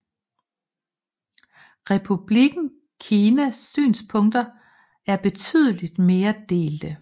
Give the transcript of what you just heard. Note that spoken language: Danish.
Republikken Kinas synspunkter er betydeligt mere delte